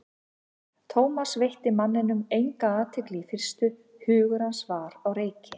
Thomas veitti manninum enga athygli í fyrstu, hugur hans var á reiki.